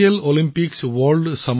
এই প্ৰতিযোগিতা বাৰ্লিনত আয়োজন কৰা হৈছিল